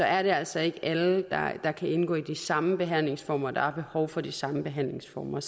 er det altså ikke alle der kan indgå i de samme behandlingsformer der har behov for de samme behandlingsformer